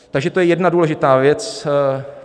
Takže to je jedna důležitá věc.